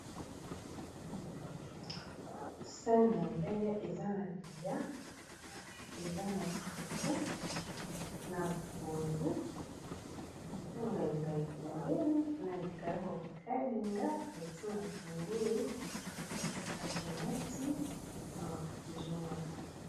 sani ya mbele eza na bilia eza na fuffu na pondu na ngainga pembeni na likaya ba kokalinga batimatungulu na tomati na mafuta ezomwonlaki